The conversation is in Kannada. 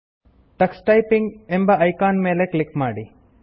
ಟಕ್ಸ್ ಟೈಪಿಂಗ್ ಎಂಬ ಐಕಾನ್ ನ ಮೇಲೆ ಕ್ಲಿಕ್ ಮಾಡಿ